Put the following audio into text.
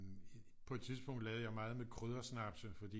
På et tidspunkt lavede jeg meget med kryddersnapse fordi